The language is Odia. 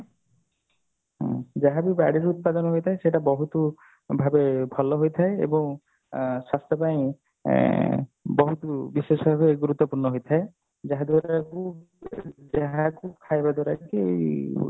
ହୁଁ ଯାହା ବି ବାଡିରୂ ଉତ୍ପାଦନ ହେଇଥାଏ ସେଇ ଗୋଡା ବହୁତ ଭାରି ଭଲ ହୋଇଥାଏ ଏବଂ ସ୍ୱାସ୍ଥ୍ୟ ପାଇଁ ଅ ବିଶେଷ ଭାବେ ଗୁରୁତ୍ୱପୂର୍ଣ୍ଣ ହୋଥାଏ ଯାହା ଦ୍ଵାରା ଯାହାକୁ ଖାଇବା ଦ୍ଵାରା କି